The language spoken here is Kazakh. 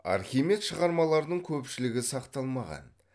архимед шығармаларының көпшілігі сақталмаған